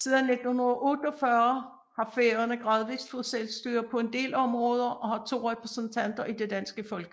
Siden 1948 har Færøerne gradvis fået selvstyre på en del områder og har to repræsentanter i det danske Folketing